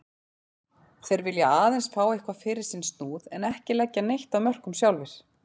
Þeir vilja aðeins fá eitthvað fyrir sinn snúð en ekki leggja neitt af mörkum sjálfir.